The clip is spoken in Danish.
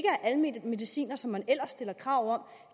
er almene medicinere som man ellers stiller krav